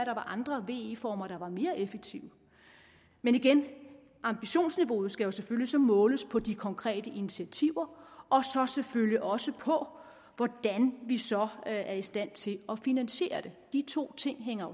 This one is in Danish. andre ve former der var mere effektive men igen ambitionsniveauet skal selvfølgelig måles på de konkrete initiativer og selvfølgelig også på hvordan vi så er i stand til at finansiere det de to ting hænger